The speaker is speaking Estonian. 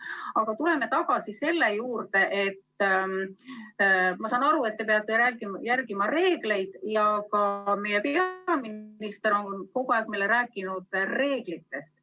Aga tuleme tagasi selle juurde, et te peate, ma saan aru, järgima reegleid ja ka meie peaminister on kogu aeg rääkinud reeglitest.